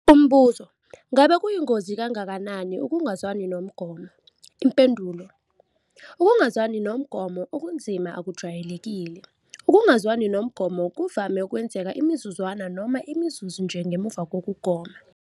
Umbuzo- Ngakube kuyingozi kangakanani ukungazwani nomgomo? Impendulo- Ukungazwani nomgomo okunzima akujwayelekile. Ukungazwani nomgomo kuvame ukwenzeka imizuzwana noma imizuzu nje ngemuva kokugoma.